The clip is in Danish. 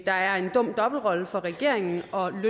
er en dum dobbeltrolle for regeringen og